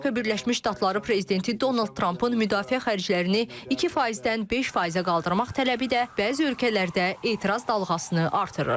Amerika Birləşmiş Ştatları prezidenti Donald Trampın müdafiə xərclərini 2%-dən 5%-ə qaldırmaq tələbi də bəzi ölkələrdə etiraz dalğasını artırır.